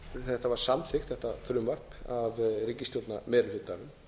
þetta var samþykkt þetta frumvarp af ríkisstjórnarmeirihlutanum